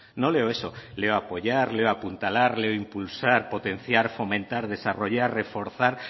no leo eso leo apoyar leo apuntalarle impulsar potenciar fomentar desarrollar reforzar